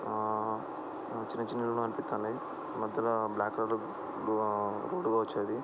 ఆ చిన్న చిన్నవిగా అనీపిత్తన్నాయి బ్లాక్ కలర్ లో ఊ రౌండ్ వచ్చేది.